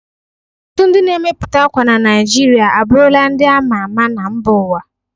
Ọtụtụ ndị na-emepụta akwa na Naijiria abụrụla ndị a ma ama na mba ụwa.